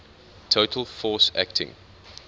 total force acting